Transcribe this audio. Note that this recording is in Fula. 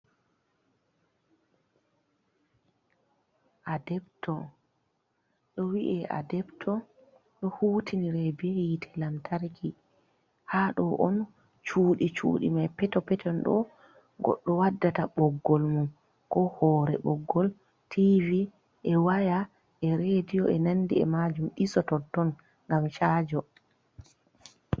Adepto, ɗo wi'i adepto do hutinire be hite lamtarki. ha ɗo on cudi cudi mai peto peton haɗo goɗɗo waddata ɓoggol mun ko hore ɓoggol tvi, e waya, e rediyo e nandi e majum ɗiso totton ngam chajo.